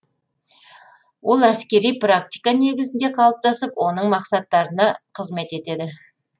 ол әскери практика негізінде қалыптасып оның мақсаттарына қызмет етеді